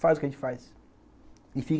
Faz o que a gente faz.